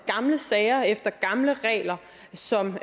gamle sager efter gamle regler som